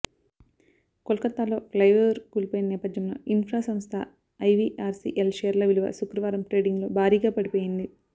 కోల్కత్తాలో flyover కూలిపోయిన నేపథ్యంలో infra సంస్థ ఐవిఆర్సిఎల్ షేర్ల విలువ శుక్రవారం ట్రేడింగ్లో భారీగా పడిపోయింది